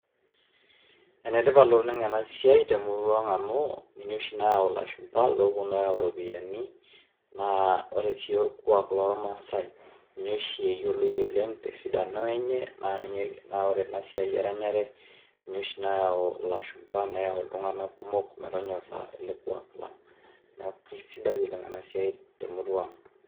Ene tipat oleng' ena siai te murua ang' amu ninye oshi nayau ilashumba looponu ayau iropiani naa ore sii orkuak lormaasai ninye oshi eyoloi oleng' te sidano enye naa ninye naa ore ena siai eranyare ninye oshi nayau ilashumba, neyau iltung'anak kumok metonyora ele kuak lang'. Neeku sidai oleng' ena siai te murua ang'.